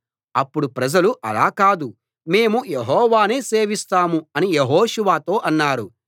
అప్పుడు ప్రజలు అలా కాదు మేము యెహోవానే సేవిస్తాం అని యెహోషువతో అన్నారు